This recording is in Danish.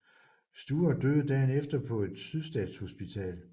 Stuart døde dagen efter på et Sydstatshospital